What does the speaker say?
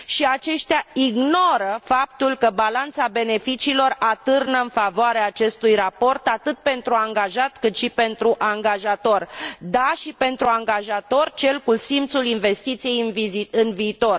Aceștia ignoră faptul că balanța beneficiilor atârnă în favoarea acestui raport, atât pentru angajat, cât și pentru angajator da, și pentru angajator, cel cu simțul investiției în viitor.